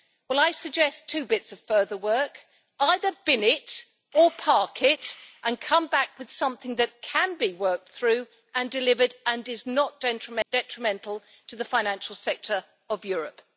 Well I suggest two bits of further work either bin it, or park it, and come back with something that can be worked through and delivered and is not detrimental to the financial sector of Europe.